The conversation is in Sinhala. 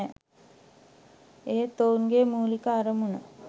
එහෙත් ඔවුන්ගේ මුලික අරමුණ